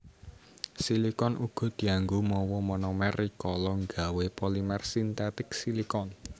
Silikon uga dianggo mawa monomer rikala nggawé polimer sintetik silikon